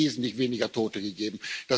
Es hätte wesentlich weniger Tote gegeben.